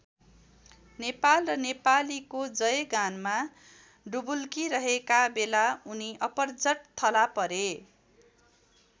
नेपाल र नेपालीको जयगानमा डुबुल्किरहेका बेला उनी अपर्झट थला परे।